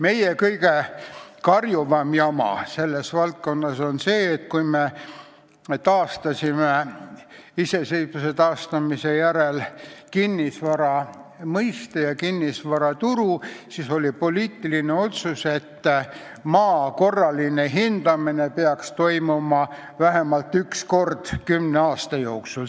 Meie kõige karjuvam jama selles valdkonnas on see, et kui me iseseisvuse taastamise järel taastasime ka kinnisvara mõiste ja kinnisvaraturu, siis oli poliitiline otsus, et maa korraline hindamine peaks toimuma vähemalt üks kord kümne aasta jooksul.